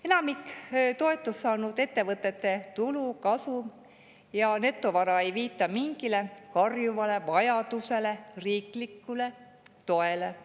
Enamiku toetust saanud ettevõtete tulu, kasum ja netovara ei viita karjuvale vajadusele riikliku toe järele.